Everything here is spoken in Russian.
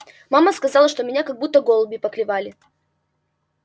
мама сказала что меня как будто голуби поклевали